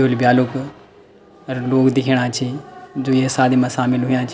ब्योली-ब्यालो क अर लोग दिखेणा छी जो ये शादी मा सामिल हुयां छी।